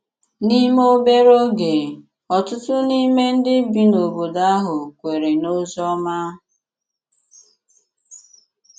N’ime obere oge, ọ̀tụ̀tụ̀ n’ime ndị bi n’obodo ahụ kwèrè n’ozi ọma.